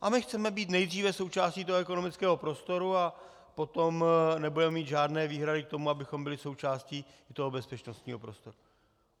A my chceme být nejdříve součástí toho ekonomického prostoru a potom nebudeme mít žádné výhrady k tomu, abychom byli součástí i toho bezpečnostního prostoru.